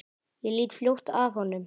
Ég lít fljótt af honum.